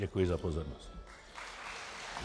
Děkuji za pozornost.